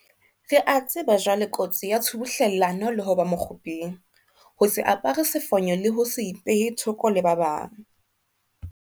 Re a tseba jwale kotsi ya tshubuhlellano le ho ba mokguping, ho se apare sefonyo le ho se ipehe thoko le ba bang.